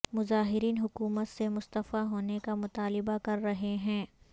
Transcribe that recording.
مظاہرین حکومت سے مستعفی ہونے کا مطالبہ کر رہے ہیں